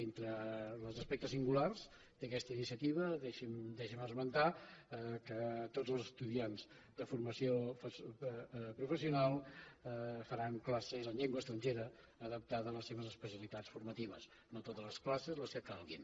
entre els aspectes singulars d’aquesta iniciativa deixi’m esmentar que tots els estudiants de formació professional faran classes en llengua estrangera adaptada a les seves especialitats formatives no totes les classes les que calguin